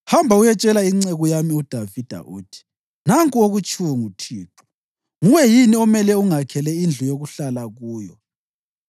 “Hamba uyetshela inceku yami uDavida uthi, ‘Nanku okutshiwo nguThixo: Nguwe yini omele ungakhele indlu yokuhlala kuyo?